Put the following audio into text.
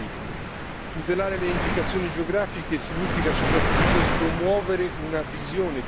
Tutelare le indicazioni geografiche significa soprattutto promuovere una visione di Europa.